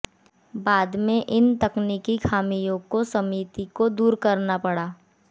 बाद में इन तकनीकी खामियों को समिति को दूर करना पड़ा